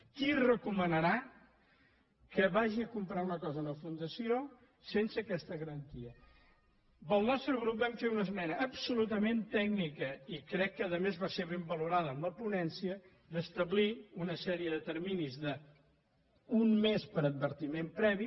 qui recomanarà que vagi a comprar una cosa a una fundació sense aquesta garantia el nostre grup vam fer una esmena absolutament tècnica i crec que a més va ser ben valorada a la po·nència d’establir una sèrie de terminis d’un mes per a advertiment previ